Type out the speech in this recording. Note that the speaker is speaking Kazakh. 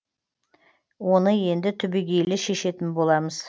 оны енді түбейгелі шешетін боламыз